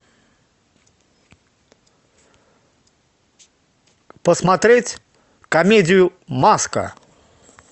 посмотреть комедию маска